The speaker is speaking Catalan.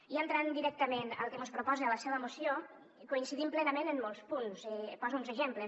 i entrant directament al que mos proposa la seva moció coincidim plenament en molts punts i poso uns exemples